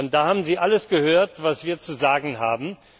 Da haben Sie alles gehört, was wir zu sagen haben.